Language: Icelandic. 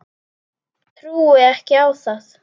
Trúi ekki á það.